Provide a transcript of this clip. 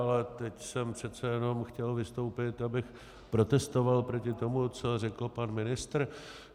Ale teď jsem přece jenom chtěl vystoupit, abych protestoval proti tomu, co řekl pan ministr.